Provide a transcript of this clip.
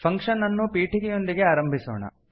function ಅನ್ನು ಪೀಠಿಕೆಯೊಂದಿಗೆ ಆರಂಭಿಸೋಣ